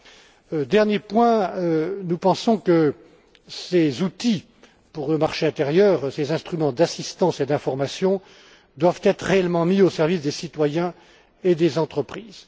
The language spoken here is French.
juin. Pour terminer, nous pensons que ces outils pour le marché intérieur, ces instruments d'assistance et d'informations, doivent être réellement mis au service des citoyens et des entreprises.